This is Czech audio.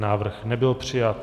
Návrh nebyl přijat.